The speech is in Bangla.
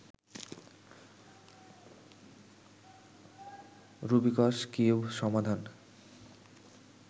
রুবিকস কিউব সমাধান